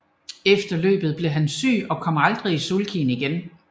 Efter løbet blev han syg og kom aldrig i sulkyen igen